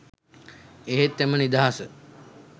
එහෙත් එම නිදහස